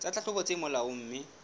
tsa tlhahlobo tse molaong mme